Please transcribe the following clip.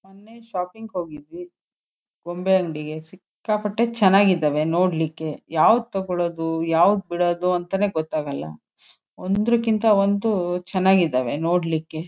ಮೊನ್ನೆ ಶಾಪಿಂಗ್ ಹೋಗಿದ್ವಿ ಗೊಂಬೆ ಅಂಗಡಿಗೆ ಸಿಕ್ಕೇಪಟ್ಟೆ ಚೆನ್ನಾಗ್ ಇದಾವೆ ನೋಡ್ಲಿಕ್ಕೆ ಯಾವ್ದು ತಗೋಳೋದು ಯಾವ್ದು ಬಿಡೋದು ಅಂತಾನೆಗೋತಗೊಳ್ಳ ಒಂದ್ರುಕ್ಕಿಂತ ಒಂದು ಚೆನ್ನಾಗ್ ಇದಾವೆ ನೋಡ್ಲಿಕ್ಕೆ.